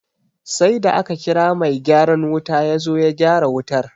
Sai da aka kira mai gyaran wuta yazo ya gyara wutar